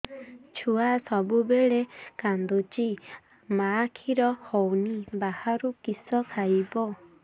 ଛୁଆ ସବୁବେଳେ କାନ୍ଦୁଚି ମା ଖିର ହଉନି ବାହାରୁ କିଷ ଖାଇବ